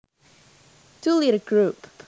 To lead a group